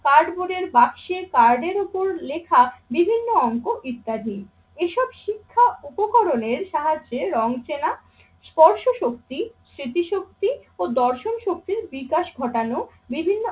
কাঠ বোর্ডের বাক্সে, কাঠের উপর লেখা বিভিন্ন অংক ইত্যাদি। এসব শিক্ষা উপকরণের সাহায্যে রং চেনা, স্পর্শ শক্তি, স্মৃতিশক্তি ও দর্শন শক্তির বিকাশ ঘটানো বিভিন্ন